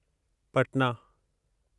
Patna